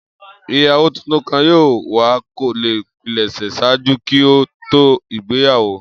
Iyawo titun ká yoo wa ko le pilẹsẹ ṣaaju ki o to igbeyawo